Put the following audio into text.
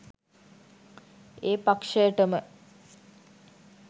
ඒ පක්ෂයටම